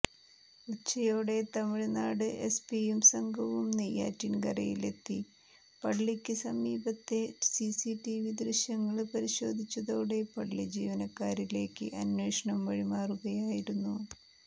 ഉച്ചയോടെ തമിഴ്നാട് എസ്പിയും സംഘവും നെയ്യാറ്റിന്കരയിലെത്തി പള്ളിക്ക് സമീപത്തെ സിസിടിവി ദൃശ്യങ്ങള് പരിശോധിച്ചതോടെ പള്ളി ജീവനക്കാരിലേക്ക് അന്വേഷണം വഴിമാറുകയായിരുന്നു